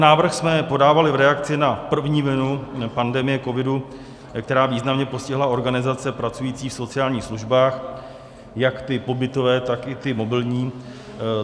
Návrh jsme podávali v reakci na první vlnu pandemie covidu, která významně postihla organizace pracující v sociálních službách, jak ty pobytové, tak i ty mobilní.